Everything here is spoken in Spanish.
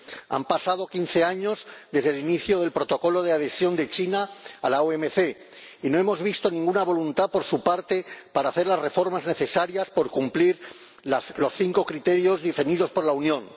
Han pasado quince años desde el inicio del Protocolo de adhesión de China a la OMC y no hemos visto ninguna voluntad por su parte para hacer las reformas necesarias para cumplir los cinco criterios definidos por la Unión.